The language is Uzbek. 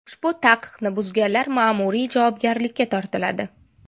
Ushbu taqiqni buzganlar ma’muriy javobgarlikka tortiladi.